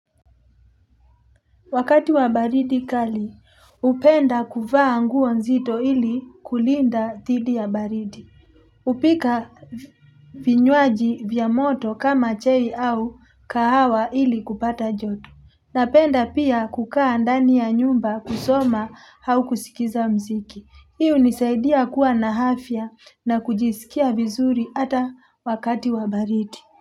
Wakati wa baridi kali, hupenda kuvaa nguo nzito ili kulinda dhidi ya baridi. Hupika vinywaji vya moto kama chai au kahawa ili kupata joto. Napenda pia kukaa ndani ya nyumba kusoma au kusikiza mziki. Hiu hunisaidia kuwa na afya na kujisikia vizuri ata wakati wa baridi.